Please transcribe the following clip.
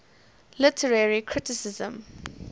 literary criticism